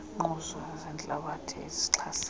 iingquzu zentlabathi ezixhasa